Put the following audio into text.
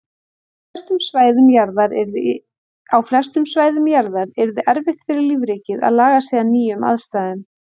Á flestum svæðum jarðar yrði erfitt fyrir lífríkið að laga sig að nýjum aðstæðum.